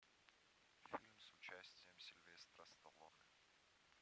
фильм с участием сильвестра сталлоне